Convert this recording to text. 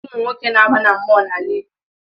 Ụmụ nwoke na-aba na mmụọ n’ala Igbo